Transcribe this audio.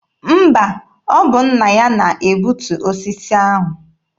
Mba, ọ bụ nna ya na-egbutu osisi ahụ.